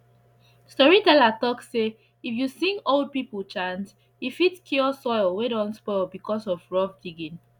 storyteller talk say if you sing old people chant e fit cure soil wey don spoil because of rough digging